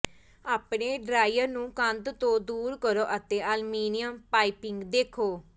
ਆਪਣੇ ਡਰਾਇਰ ਨੂੰ ਕੰਧ ਤੋਂ ਦੂਰ ਕਰੋ ਅਤੇ ਅਲਮੀਨੀਅਮ ਪਾਈਪਿੰਗ ਦੇਖੋ